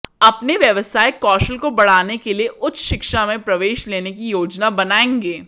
अपने व्यावसायिक कौशल को बढ़ाने के लिए उच्च शिक्षा में प्रवेश लेने की योजना बनाएंगे